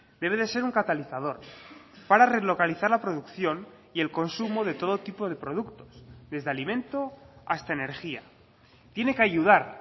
debe de ser un catalizador para relocalizar la producción y el consumo de todo tipo de productos desde alimento hasta energía tiene que ayudar